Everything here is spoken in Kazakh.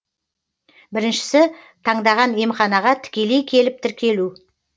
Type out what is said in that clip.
біріншісі таңдаған емханаға тікелей келіп тіркелу